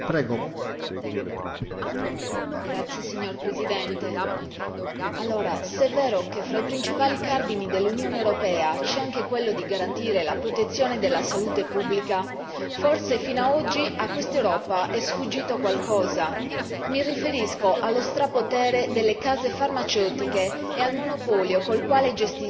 Signor Presidente, onorevoli colleghi, se è vero che fra i principali cardini dell'Unione europea c'è anche quello di garantire la protezione della salute pubblica, forse fino a oggi a quest'Europa è sfuggito qualcosa. Mi riferisco allo strapotere delle case farmaceutiche e al monopolio col quale gestiscono, ad esempio, il commercio dei farmaci salvavita,